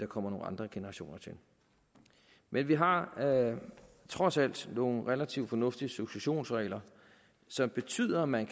kommer nogle andre generationer til men vi har trods alt nogle relativt fornuftige successionsregler som betyder at man